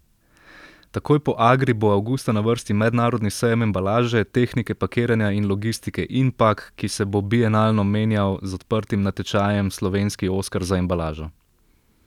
Takoj po Agri bo avgusta na vrsti mednarodni sejem embalaže, tehnike pakiranja in logistike Inpak, ki se bo bienalno menjal z odprtim natečajem Slovenski oskar za embalažo.